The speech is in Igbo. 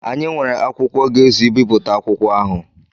Anyị nwere akwụkwọ ga-ezu ibipụta akwụkwọ ahụ.